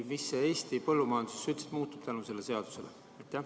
Mis Eesti põllumajanduses üldiselt muutub tänu sellele seadusele?